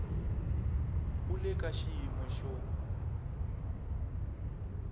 u le ka xiyimo xo